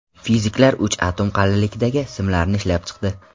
Fiziklar uch atom qalinlikdagi simlarni ishlab chiqdi.